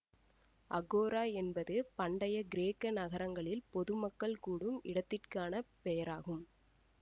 அகோரா என்பது பண்டைய கிரேக்க நகரங்களில் பொது மக்கள் கூடும் இடத்திற்கானப் பெயராகும்